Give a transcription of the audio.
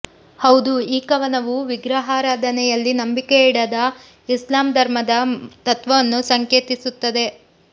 ಹೌದು ಈ ಕವನವು ವಿಗ್ರಹಾರಾಧನೆಯಲ್ಲಿ ನಂಬಿಕೆಯಡದ ಇಸ್ಲಾಮ್ ಧರ್ಮದ ತತ್ವವನ್ನು ಸಂಕೇತಿಸುತ್ತದೆ